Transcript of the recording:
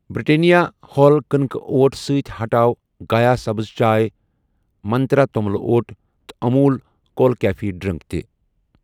Britannia whole کٕنکہٕ oat سۭتۍ ہٹاو گایا سبٕٕز چاے ، منٛترٛا توٚملہٕ اوٹ تہٕ اموٗل کوٗل کیفے ڈرٛنٛک تہِ